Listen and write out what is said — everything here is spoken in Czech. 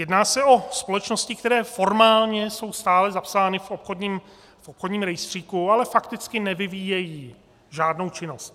Jedná se o společnosti, které formálně jsou stále zapsány v obchodním rejstříku, ale fakticky nevyvíjejí žádnou činnost.